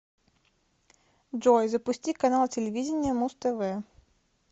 джой запусти канал телевидения муз тв